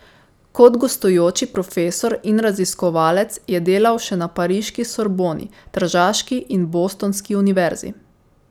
Kot gostujoči profesor in raziskovalec je delal še na pariški Sorboni, tržaški in bostonski univerzi.